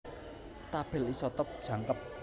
Tabèl isotop jangkep